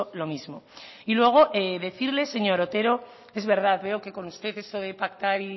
lo mismo y luego decirle señor otero es verdad veo que con usted eso de pactar